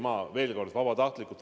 Ma kordan: vabatahtlikult.